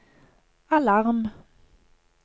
alarm